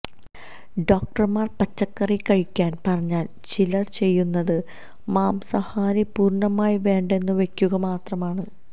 ഡോക്ടര്മാര് പച്ചക്കറി കഴിക്കാന് പറഞ്ഞാല് ചിലര് ചെയ്യുന്നത് മാംസാഹാരം പൂര്ണമായി വേണ്ടെന്നുവെക്കുക മാത്രമാണ്